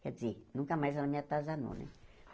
Quer dizer, nunca mais ela me atasanou, né?